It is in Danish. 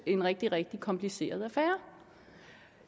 en rigtig rigtig kompliceret affære